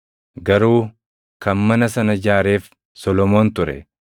Garuu kan mana sana ijaareef Solomoon ture.